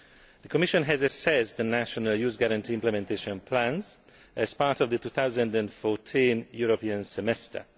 The Commission has assessed the national Youth Guarantee implementation plans as part of the 2014 European Semester.